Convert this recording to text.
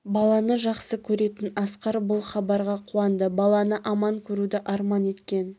баланы жақсы көретін асқар бұл хабарға қуанды баланы аман көруді арман еткен